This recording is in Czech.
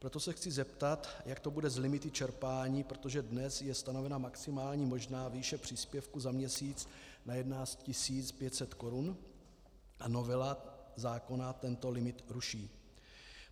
Proto se chci zeptat, jak to bude s limity čerpání, protože dnes je stanovena maximální možná výše příspěvku za měsíc na 11 500 Kč a novela zákona tento limit ruší.